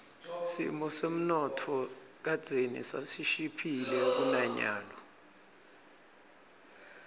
simo semnotfo kadzeni sasishiphile kunanyalo